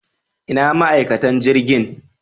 Ina ma'aikatan jirgin?